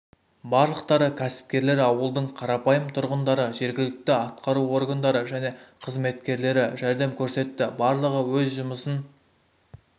барлықтары кәсіпкерлер ауылдың қарапайым тұрғындары жергілікті атқару органдары және қызметкерлері жәрдем көрсетті барлығы өз жұмысын